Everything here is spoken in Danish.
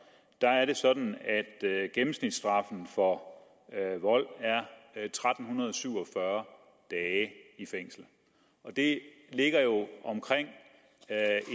er det sådan at gennemsnitsstraffen for vold er tretten syv og fyrre dage i fængsel det ligger jo på omkring